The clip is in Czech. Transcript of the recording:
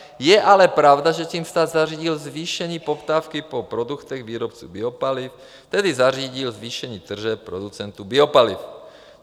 - Je ale pravda, že tím stát zařídil zvýšení poptávky po produktech výrobců biopaliv, tedy zařídil zvýšení tržeb producentů biopaliv.